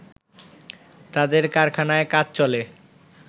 তাদের কারখানায় কাজ চলে